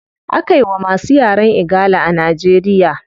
Akawai masu yaren igala a nigeria